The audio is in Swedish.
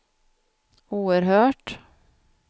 oerhört